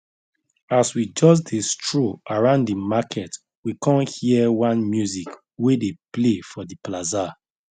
as we just dey stroll around the market we con hear one music wey dey play for the plaza